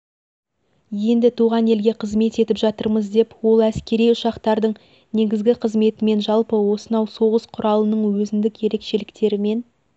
енді туған елге қызмет етіп жатырмыз деп ол әскери ұшақтардың негізгі қызметімен жалпы осынау соғыс құралының өзіндік ерекшеліктерімен